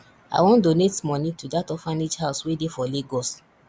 i wan donate money to dat orphanage house wey dey for lagos